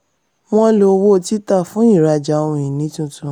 wọ́n lò owó títà fún ìrajà ohun-ìní tuntun.